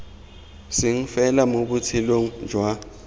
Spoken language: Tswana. seng fela mo botshelong jwa